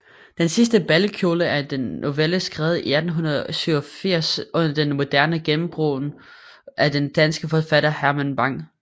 Den sidste balkjole er en novelle skrevet i 1887 under det moderne gennembrud af den danske forfatter Herman Bang